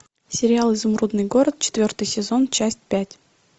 сериал изумрудный город четвертый сезон часть пять